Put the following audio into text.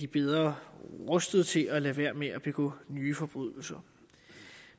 bedre rustet til at lade være med at begå nye forbrydelser